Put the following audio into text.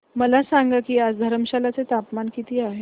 मला सांगा की आज धर्मशाला चे तापमान किती आहे